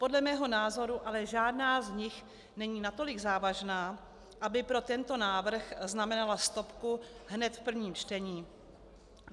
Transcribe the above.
Podle mého názoru ale žádná z nich není natolik závažná, aby pro tento návrh znamenala stopku hned v prvním čtení.